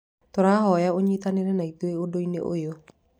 Tũrahoya ũnyitanĩre na ithuĩ ũndũ-inĩ ũyũ